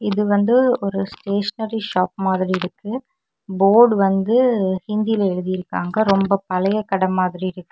இது வந்து ஒரு ஸ்டேஷனரி ஷாப் மாதிரி இருக்கு போர்டு வந்து ஹிந்தியில எழுதிருக்காங்க ரொம்ப பழைய கட மாதிரி இருக்கு.